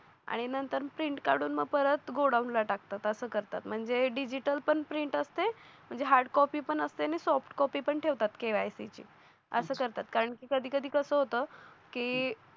आणि नंतर प्रिंट काढून परत गोडाऊनला टाकतात असं करतात म्हणजे डिजिटल पण प्रिंट असते म्हणजे हार्ड कॉपी पण असते आणि सॉफ्ट कॉपी पण ठेवतात KYC ची असं करतात कारण की कधी कधी कसं होतं कि